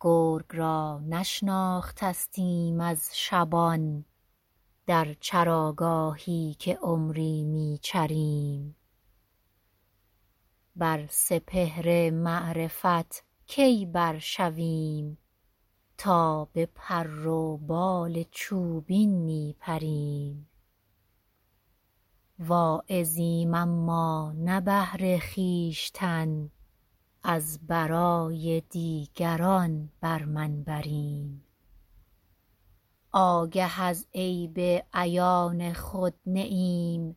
گرگ را نشناختستیم از شبان در چراگاهی که عمری میچریم بر سپهر معرفت کی بر شویم تا بپر و بال چوبین میپریم واعظیم اما نه بهر خویشتن از برای دیگران بر منبریم آگه از عیب عیان خود نه ایم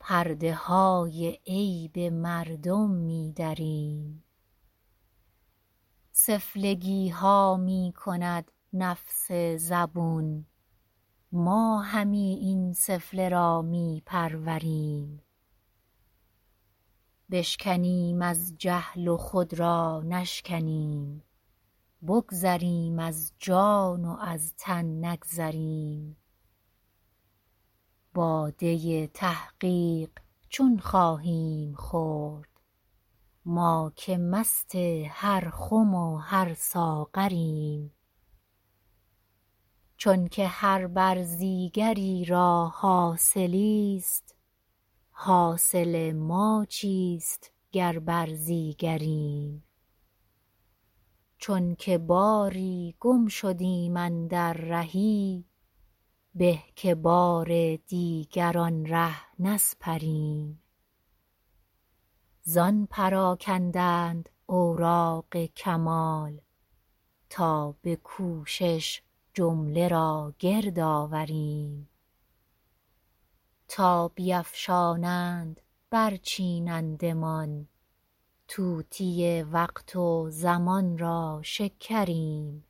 پرده های عیب مردم میدریم سفلگیها میکند نفس زبون ما همی این سفله را میپروریم بشکنیم از جهل و خود را نشکنیم بگذریم از جان و از تن نگذریم باده تحقیق چون خواهیم خورد ما که مست هر خم و هر ساغریم چونکه هر برزیگری را حاصلی است حاصل ما چیست گر برزیگریم چونکه باری گم شدیم اندر رهی به که بار دیگر آن ره نسپریم زان پراکندند اوراق کمال تا بکوشش جمله را گرد آوریم تا بیفشانند بر چینندمان طوطی وقت و زمان را شکریم